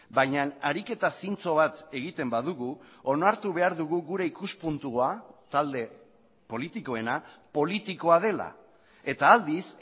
baina ariketa zintzo bat egiten badugu onartu behar dugu gure ikuspuntua talde politikoena politikoa dela eta aldiz